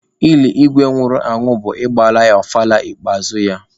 Ili Igwe nwụrụ anwụ bụ ịgbara ya ọfala ikpeazụ ya.